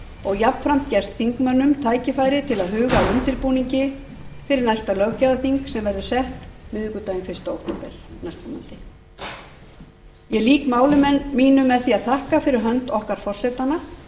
og jafnframt gefst þingmönnum tækifæri til að huga að undirbúningi fyrir næsta löggjafarþing sem verður sett miðvikudaginn fyrsta október næstkomandi ég lýk máli mínu með því að þakka fyrir hönd okkar forsetanna